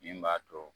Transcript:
Min b'a to